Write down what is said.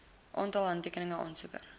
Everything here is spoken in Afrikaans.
aantal handtekeninge aansoeker